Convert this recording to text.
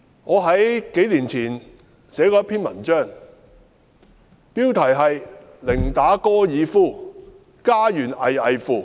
我在數年前寫過一篇文章，標題是"寧打高爾夫，家園危危乎"。